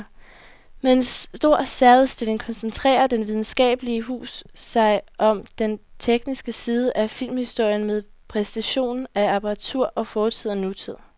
Med en stor særudstilling koncentrerer det videnskabelige hus sig om den tekniske side af filmhistorien med præsentation af apparatur fra fortid og nutid.